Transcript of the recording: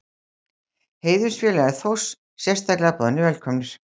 Heiðursfélagar Þórs sérstaklega boðnir velkomnir.